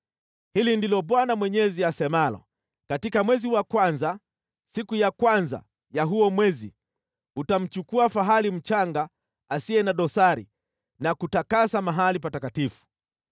“ ‘Hili ndilo Bwana Mwenyezi asemalo: Katika mwezi wa kwanza, siku ya kwanza ya huo mwezi utamchukua fahali mchanga asiye na dosari na kutakasa mahali patakatifu.